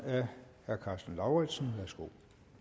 har været brug